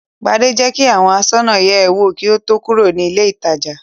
Gbadé jẹ́ kí àwọn aṣọ́nà yẹ̀ ẹ́ wò kí ó tó kúrò ní ilé-ìtajà.